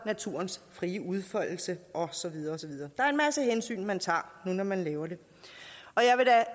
naturens frie udfoldelse og så videre og så videre der er en masse hensyn man tager når man laver det